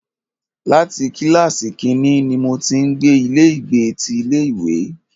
Láti kílàsì kínní ní mo ti ń gbé ilé ìgbé ti ilé ìwé.